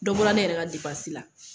Dɔ bɔra ne yɛrɛ ka la.